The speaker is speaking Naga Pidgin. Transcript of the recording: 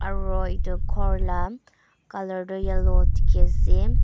aro itu ghor la colour toh yellow dikhi ase.